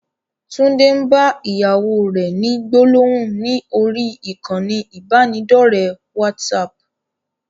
Tunde ń bá ìyàwó rẹ ni gbólóhùn ni orí ìkànnì ibanidọ̀rẹ́ WhatsApp.